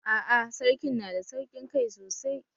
A'a sarkin na da sauƙin kai sosai